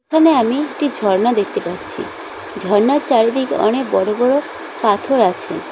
এখানে আমি একটি ঝর্ণা দেখতে পাচ্ছি ঝর্ণার চারিদিকে অনেক বড় বড় পাথর আছে।